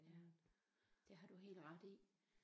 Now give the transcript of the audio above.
Ja det har du helt ret i